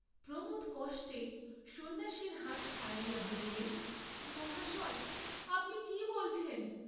প্রমোদ কষ্টে সন্ন্যাসীর হাত ছাড়াইয়া বলিলেন মহাশয়, আপনি কি বলছেন?